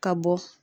Ka bɔ